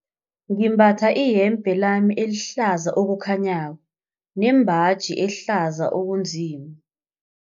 Ngimbatha iyembe lami elihlaza okukhanyako nembaji ehlaza okunzima.